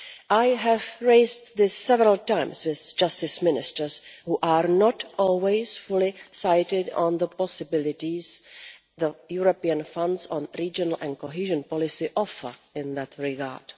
I have raised this several times with Justice Ministers, who are not always fully aware of the possibilities the European funds on regional and cohesion policy offer in that regard.